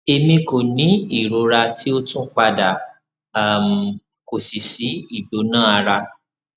emi ko ni irora ti o tun pada um ko si si igbona ara